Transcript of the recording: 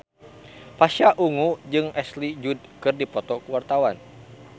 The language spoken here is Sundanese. Pasha Ungu jeung Ashley Judd keur dipoto ku wartawan